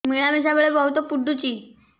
ମିଳାମିଶା ବେଳେ ବହୁତ ପୁଡୁଚି